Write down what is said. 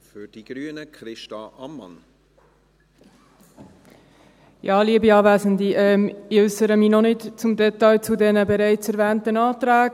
Ich äussere mich noch nicht im Detail zu den bereits erwähnten Anträgen.